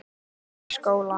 Uppi í skóla.